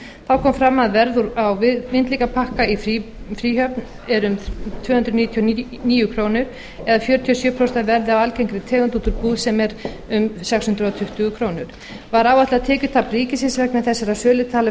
kom fram að verð á vindlingapakka í fríhöfn er um tvö hundruð níutíu og níu krónur eða fjörutíu og sjö prósent af verði á algengri tegund út úr búð sem er um sex hundruð tuttugu krónur var áætlað tekjutap ríkisins vegna þessarar sölu talið vera